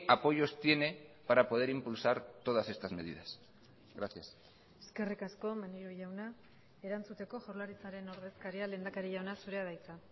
apoyos tiene para poder impulsar todas estas medidas gracias eskerrik asko maneiro jauna erantzuteko jaurlaritzaren ordezkaria lehendakari jauna zurea da hitza